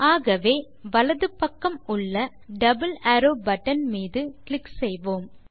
ஆகவே வலது பக்கம் உள்ள டபிள் அரோவ் பட்டன் மீது கிளிக் செய்வோம்